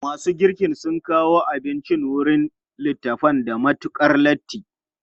Masu girkin sun kawo abinci wurin littafan da matukar latti.